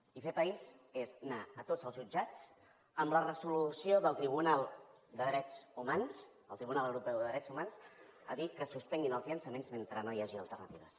i fer país és anar a tots els jutjats amb la resolució del tribunal de drets humans el tribunal europeu de drets humans a dir que se suspenguin els llançaments mentre no hi hagi alternatives